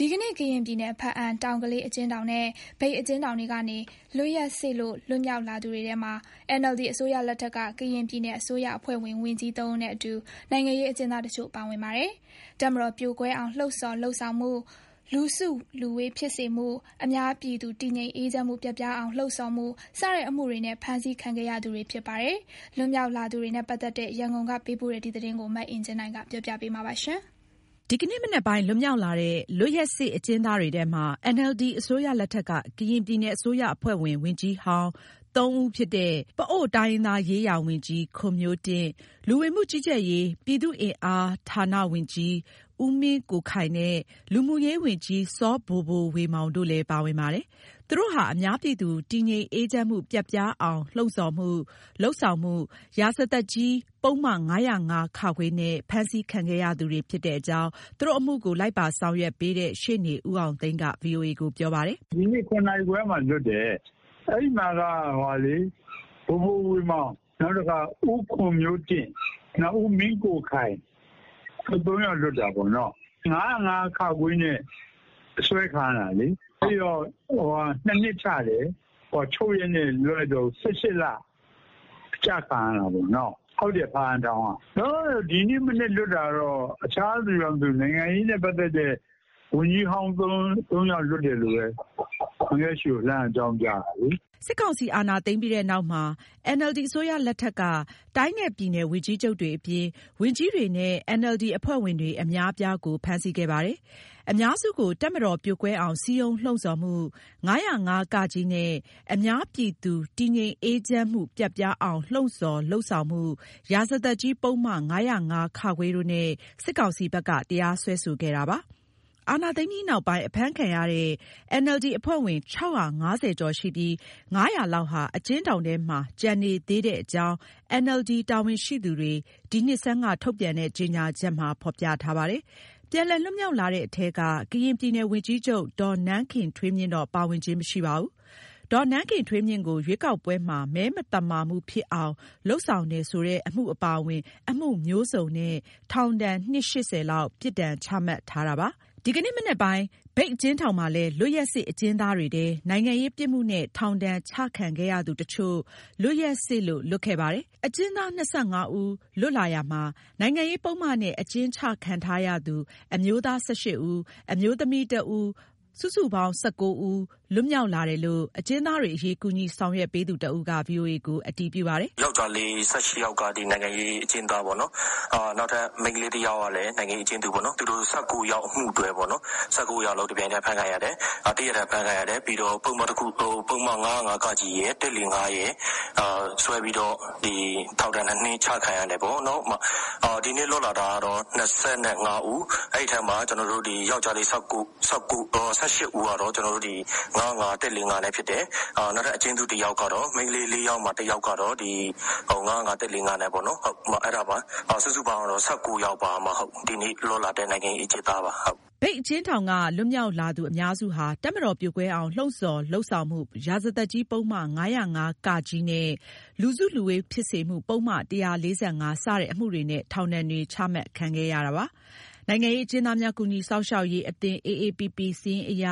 ဒီနေ့ ကရင်ပြည်နယ် ဘားအံမြို့နယ် တောင်ကလေးအကျဉ်းထောင်နဲ့ မြိတ်အကျဉ်းထောင်တွေကနေ လွတ်ရက်စေ့လို့ လွတ်မြောက်လာသူတွေထဲမှာ NLD အစိုးရလက်ထက်က ကရင်ပြည်နယ်အစိုးရအဖွဲ့ဝင် ဝန်ကြီး ၃ ဦးနဲ့အတူ နိုင်ငံရေးအကျဉ်းသား တချို့ ပါဝင်ပါတယ်။ တပ်မတော်ပြိုကွဲအောင် လှုံ့ဆော်လုပ်ဆောင်မှု၊ လူစုလူဝေးဖြစ်စေမှု၊ အများပြည်သူ တည်ငြိမ် အေးချမ်းမှုပျက်ပြားအောင် လှုံ့ဆော်မှု၊ စတဲ့ အမှုတွေနဲ့ ဖမ်းဆီးခံခဲ့ရသူတွေဖြစ်ပါတယ်။ လွတ်မြောက်လာသူတွေနဲ့ ပတ်သက် တဲ့ ရန်ကုန်က ပေးပို့တဲ့သတင်းကို မအင်ကြင်းနိုင်က တင်ပြပါမယ်။ ဒီကနေ့မနက်ပိုင်း လွတ်မြောက်လာတဲ့ လွတ်ရက်စေ့ အကျဉ်းသားတွေထဲမှာ NLD အစိုးရလက်ထက်က ကရင်ပြည်နယ် အစိုးရအဖွဲ့ဝင် ဝန်ကြီးဟောင်း ဦး ဖြစ် တဲ့ ပအိုဝ်းတိုင်းရင်းသားရေးရာဝန်ကြီး ခွန်မျိုးတင့်၊ လူဝင်မှုကြီးကြပ်ရေး၊ ပြည်သူ့အင်အားဌာနဝန်ကြီး ဦးမင်းကိုခိုင်နဲ့ လူမှုရေးဝန်ကြီး စောဘိုဘိုဝေမောင် တို့လည်း ပါဝင်ပါတယ်။ သူတို့ဟာ အများပြည်သူ တည်ငြိမ်အေးချမ်းမှုပျက်ပြားအောင် လှုံ့ဆော်လုပ်ဆောင်မှု ရာဇသတ်ကြီး ပုဒ်မ ၅၀၅-ခ နဲ့ ဖမ်းဆီးခံခဲ့ရသူတွေ ဖြစ်တဲ့အကြောင်း သူတို့အမှုကို လိုက်ပါဆောင်ရွက်ပေးတဲ့ ရှေ့နေ ဦး အောင်သိန်းက ဗွီအိုအေကို ပြောပါတယ်။ “ဒီနေ့ ၇ နာရီခွဲမှာလွတ်တယ်။ အဲဒီမှာ ဘိုဘို ဝေမောင်၊ ခွန်မျိုးတင့်၊ ဦးမင်းကိုခိုင် တို့ သူတို့ ၃ ယောက်လွတ်တာပေါ့ နော်။ ၅၀၅ -ခ နဲ့ အဆွဲခံရတာလေ။ ၂ နှစ် ချတယ်။ ချုပ်ရက်နဲ့လွတ်တော့ ၁၈ လကျခံရတာပေါ့။ ဘားအံထောင်ကပါ။ လောလောဆယ် ဒီမနက်လွတ်တာ အခြားသူတော့မသိဘူး၊ ဘားအံဘက်က နိုင် ငံရေးနဲ့ပတ်သတ်တာ အဲ ၃ ယောက်လွတ်တယ်လို့ အန်ကယ့်ကိုပြောပြတာပဲ။” စစ်ကောင်စီ အာဏာသိမ်းပြီးနောက်မှာ NLD အစိုးရလက်ထက်က တိုင်းနဲ့ ပြည်နယ် ဝန်ကြီးချုပ်တွေအပြင် ဝန်ကြီးတွေနဲ့ NLD အဖွဲ့ဝင်တွေ အများအပြားကို ဖမ်းဆီးခဲ့ပါတယ်။ အများစုကို တပ်မတော်ပြိုကွဲအောင် စည်းရုံးလှုံ့ဆော်မှု၊ ၅၀၅ ကနဲ့ အများပြည်သူ တည်ငြိမ်အေးချမ်းမှုပျက်ပြားအောင် လှုံ့ဆော်၊ လုပ်ဆောင်မှု ရာဇသတ်ကြီး ပုဒ်မ ၅၀၅-ခ တို့နဲ့ စစ်ကောင်စီဘက်က တရားစွဲဆိုခဲ့ပါတယ်။ အာဏာသိမ်းပြီးနောက်ပိုင်း အဖမ်းခံရတဲ့ NLD အဖွဲ့ဝင် ၆၅၀ ကျော် ရှိပြီး ၅၀၀ လောက် အကျဉ်းထောင်ထဲမှာ ကျန်နေသေးတဲ့အကြောင်း NLD တာဝန်ရှိသူတွေ ဒီနှစ်ဆန်းက ထုတ်ပြန်တဲ့ ကြေညာချက်မှာ ဖော်ပြပါတယ်။ ပြန်လည် လွတ်မြောက်လာတဲ့အထဲက ကရင်ပြည်နယ်ဝန်ကြီးချုပ် ဒေါ်နန်းခင်ထွေးမြင့်တော့ ပါဝင်ခြင်း မရှိပါဘူး။ ဒေါ်နန်းခင်ထွေးမြင့်ကို ရွေးကောက်ပွဲမှာ မဲမသမာမှုဖြစ်အောင် လုပ်ဆောင်တယ်ဆိုတဲ့ အမှု အပါအဝင် အမှုမျိုးစုံနဲ့ ထောင်ဒဏ်နှစ် ၈၀ လောက် ပြစ်ဒဏ်ချမှတ်ခံထားရပါတယ်။ ဒီကနေ့မနက်ပိုင်း မြိတ်အကျဉ်းထောင်မှာလည်း လွတ်ရက်စေ့အကျဉ်းသားတွေထဲ နိုင်ငံရေးပြစ်မှုနဲ့ထောင်ဒဏ် ချခံခဲ့ရသူတချို့ လွတ်ရက်စေ့လို့ လွတ်ခဲ့ပါတယ်။ အကျဉ်းသား ၂၅ ဦးလွတ်တာမှာ နိုင်ငံရေးပုဒ်မနဲ့ အကျဉ်းချခံထားရသူ အမျိုးသား ၁၈ ဦး အမျိုးသမီး ၁ ဦး ပေါင်း ၁၉ ဦး လွှတ်မြောက်လာတယ်လို့ အကျဉ်းသားတွေအရေး ကူညီဆောင်ရွက်ပေးသူတဦးက ဗွီအိုအေကို အတည်ပြုပါတယ်။ “ယောက်ကျားလေး ၁၈ ယောက်က နိုင်ငံရေးအကျဉ်းသား၊ နောက် မိန်းကလေး တယောက်သူလည်း နိုင်ငံရေးအကျဉ်းသားပဲ။ ၁၉ ယောက်အမှုတွဲပေါ့။ ၁၉ ယောက်စလုံး တနေ့တည်း အဖမ်းခံရတယ်။အမှုတခုတည်းနဲ့ ဆွဲခံထိခဲ့တာပါ။ သူတို့ကို ၅၀၅-ကနဲ့ ၁၄၅ တို့နဲ့ဆွဲတယ်။ ထောင် ၂ နှစ်ချခဲ့တယ်။ ဒီနေ့လွတ်တာက စုစုပေါင်း ၂၅ ဦး။ ဒီထဲမှာ ယောက်ကျားလေး ၁၈ ဦးကနိုင်ငံရေး အကျဉ်းသားပါ။ နောက် မိန်းကလေး လွတ်တဲ့ ၄ ယောက်မှာ တယောက်က နိုင်ငံရေးအမှုနဲ့လွတ်တာပေါ့။ ဒီတော့ဒီနေ့ လွတ်တဲ့နိုင်ငံရေးအကျဉ်းသား ၁၉ ယောက်ပါ။” မြိတ်အကျဉ်းထောင်က လွတ်မြောက်လာသူ အများစုဟာ တပ်မတော်ပြိုကွဲအောင် လှုံ့ဆော်လုပ်ဆောင်မှု ရာဇသတ်ကြီးပုဒ်မ ၅၀၅-က နဲ့ လူစုလူဝေးဖြစ်စေမှု ပုဒ်မ ၁၄၅ ၊ စတဲ့ အမှုတွေနဲ့ ထောင်ဒဏ်တွေ ချမှတ်ခဲ့ရတာပါ။ နိုင်ငံရေးအကျဉ်းသားများ ကူညီစောင့်ရှောက်ရေးအသင်း စာရင်းအရ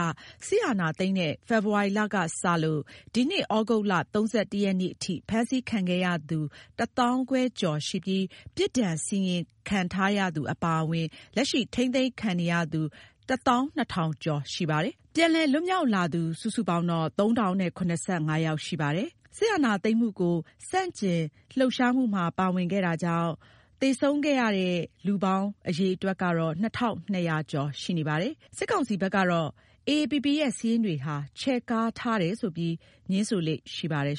စစ်အာဏာသိမ်းတဲ့ ဖေဖော်ဝါရီလ ကစလို့ ဒီနှစ် ဩဂုတ် ၃၁ ရက်ထိ ဖမ်းဆီးခံခဲ့ရသူ တသောင်းခွဲကျော်ရှိပြီး ပြစ်ဒဏ်စီရင်ခံထားရသူအပါအဝင် လက်ရှိ ထိန်းသိမ်းခံနေရသူ တသောင်း ၂ ထောင် ကျော်ရှိပါတယ်။ ပြန်လည်လွတ်မြောက်လာသူ ၃,၀၇၅ ယောက်ရှိပါတယ်။ အာဏာသိမ်းမှုနောက်ပိုင်း စစ်အုပ်ချုပ်ရေး ဆန့်ကျင် လှုပ်ရှားမှုတွေနဲ့ ဆက်စပ်ပြီး သေဆုံးသူပေါင်းကတော့ ၂,၂၀၀ ကျော်ရှိပါတယ်။ စစ်ကောင်စီဘက်ကတော့ နိုင်ငံရေး အကျဉ်းသားများ ကူညီစောင့်ရှောက်ရေး အသင်း ရဲ့ စာရင်းတွေဟာ ချဲ့ကားထားတယ်ဆိုပြီး ငြင်းဆိုလေ့ရှိပါတယ်